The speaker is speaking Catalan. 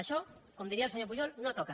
això com diria el senyor pujol no toca